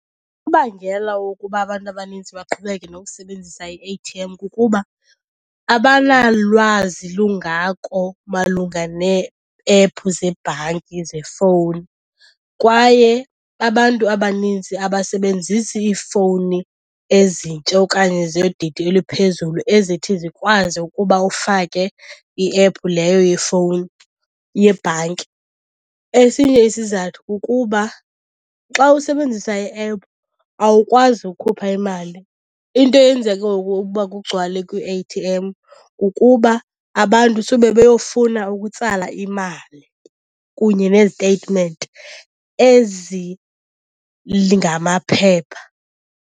Ibangela wokuba abantu abanintsi baqhubeke nokusebenzisa i-A_T_M kukuba abanalwazi lungako malunga nee-ephu zebhanki zefowuni. Kwaye abantu abaninzi abasebenzisi iifiowuni ezintsha okanye zodidi eliphezulu ezithi zikwazi ukuba ufake iephu leyo yefowuni, yebhanki. Esinye isizathu kukuba xa usebenzisa iephu awukwazi ukhupha imali. Into eyenza ke ngoku kugcwale kwii-A_T_M kukuba abantu sube beyofuna ukutsala imali kunye neziteyitimenti ezingamaphepha.